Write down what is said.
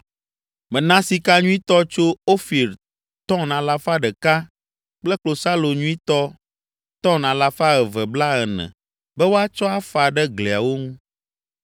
“Mena sika nyuitɔ tso Ofir ‘tɔn’ alafa ɖeka (100) kple klosalo nyuitɔ ‘tɔn’ alafa eve blaene (240) be woatsɔ afa ɖe gliawo ŋu